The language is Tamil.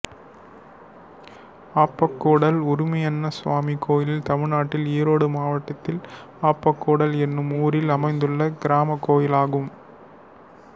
ஆப்பக்கூடல் உரிமையண்ணசுவாமி கோயில் தமிழ்நாட்டில் ஈரோடு மாவட்டம் ஆப்பக்கூடல் என்னும் ஊரில் அமைந்துள்ள கிராமக் கோயிலாகும்